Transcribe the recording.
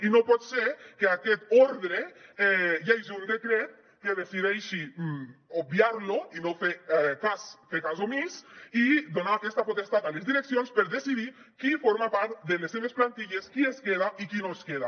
i no pot ser que aquest ordre hi hagi un decret que decideixi obviar lo i no fer ne cas fer ne cas omís i donar aquesta potestat a les direccions per decidir qui forma part de les seves plantilles qui es queda i qui no es queda